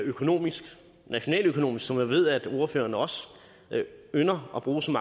nationaløkonomisk som jeg ved at ordføreren også ynder at bruge som